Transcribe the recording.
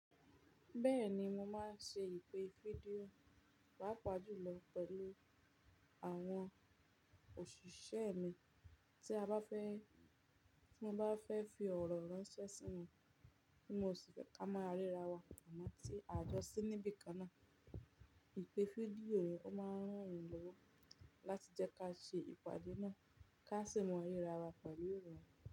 Bẹ́ẹ̀ni mo máa ń ṣe ìpè fídíò, pàápàá jùlọ pẹ̀lú àwọn òṣìṣẹ́ mi, tí a bá fẹ́, tí mọ́ bá fẹ́ fi ọ̀rọ̀ ránṣẹ́ sí won, tí mo sì fẹ́ ká maa rira wa, àmọ́ tí a jọ sí níbi kan náà, ìpè fídíò ni ó máa ń ràn mí lówó láti jẹ́ ká ṣe ìpàdé náà, ká sì mọ rira wa pẹ̀lú ìrọ̀rùn.